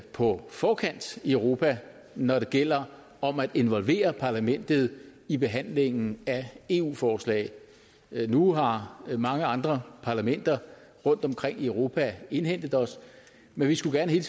på forkant i europa når det gælder om at involvere parlamentet i behandlingen af eu forslag nu har mange andre parlamenter rundtomkring i europa indhentet os men vi skulle gerne hele